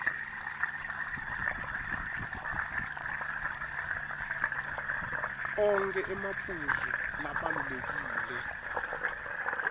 onkhe emaphuzu labalulekile